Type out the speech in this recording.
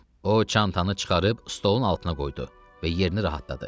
O çantanı çıxarıb stolun altına qoydu və yerini rahatladı.